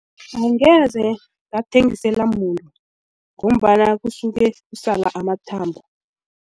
Angeze bathengisela muntu ngombana kusuke kusale amathambo.